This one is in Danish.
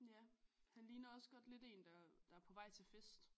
Ja han ligner også godt lidt en der der er på vej til fest